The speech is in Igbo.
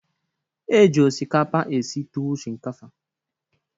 E ji osikapa esi tuwu shinkafa.